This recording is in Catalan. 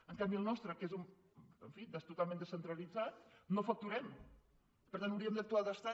en canvi el nostre que és en fi totalment descentralitzat no facturem per tant hauríem d’actuar d’estat